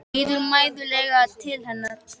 Lítur mæðulega til hennar.